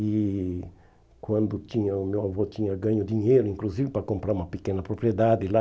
E quando tinha o meu avô tinha ganho dinheiro, inclusive para comprar uma pequena propriedade lá,